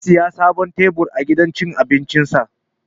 Zai saya sabon tebur a gidan cin abincin sa